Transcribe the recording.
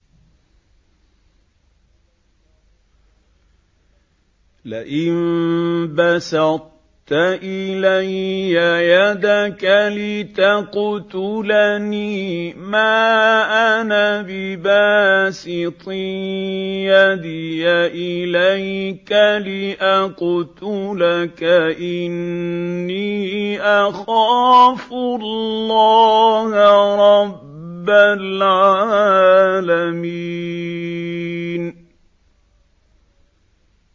لَئِن بَسَطتَ إِلَيَّ يَدَكَ لِتَقْتُلَنِي مَا أَنَا بِبَاسِطٍ يَدِيَ إِلَيْكَ لِأَقْتُلَكَ ۖ إِنِّي أَخَافُ اللَّهَ رَبَّ الْعَالَمِينَ